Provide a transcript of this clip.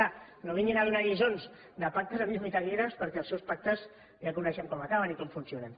ara no vinguin a donar lliçons de pactes amb llum i taquígrafs perquè els seus pactes ja coneixem com acaben i com funcionen